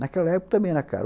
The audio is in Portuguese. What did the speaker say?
Naquela época também era caro.